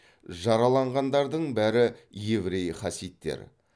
жараланғандардың бәрі еврей хасидтер